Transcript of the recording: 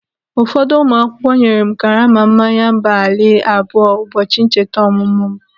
Ụfọdụ ụmụ akwụkwọ nyere m karama mmanya amber ale abụọ ụbọchị ncheta ọmụmụ m.